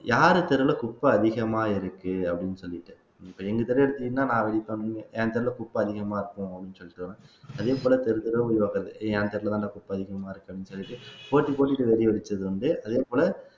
யாரு தெருவுல குப்பை அதிகமா இருக்கு அப்படின்னு சொல்லிட்டு இப்ப எங்க தெரு எடுத்தீங்கன்னா நான் வெடிப்பேன் நீங்க என் தெருல குப்பை அதிகமா இருக்கும் அப்படின்னு சொல்லிட்டு வர்றேன் அதே போல தெரு தெருவும் என் தெருவுலதான்டா குப்பை அதிகமா இருக்குன்னு சொல்லி போட்டி போட்டுட்டு வெடி வெடிச்சது வந்து அதே போல